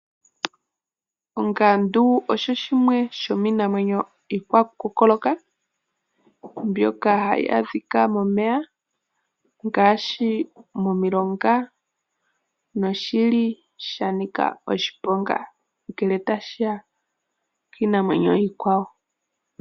Ongandu osho shimwe shomiinamwenyo iikwakukokoloka mbyoka hayi adhikwa momeya ngaashi, momilonga noshili shanika oshiponga ngele tashiya kiinamwenyo iikwawo.